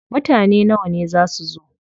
Mutane nawa ne za su zo?